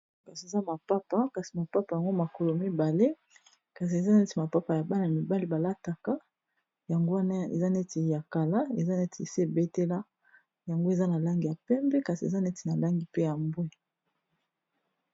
Kasi eza mapapa kasi mapapa yango makolo mibale kasi eza neti mapapa ya bana mibale ba lataka yango, wana eza neti ya kala eza neti si e betela, yango eza na langi ya pembe kasi eza neti na langi pe ya mbwe .